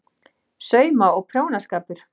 SAUMA- OG PRJÓNASKAPUR